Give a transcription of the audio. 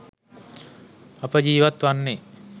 අප ජීවත් වන්නේ